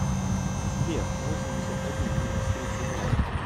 сбер восемьдесят один минус тридцать два